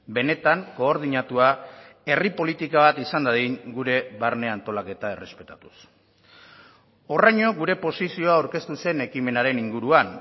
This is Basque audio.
benetan koordinatua herri politika bat izan dadin gure barne antolaketa errespetatuz horraino gure posizioa aurkeztu zen ekimenaren inguruan